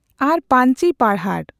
ᱟᱨ ᱯᱟᱺᱧᱪᱤ ᱯᱟᱨᱦᱟᱲ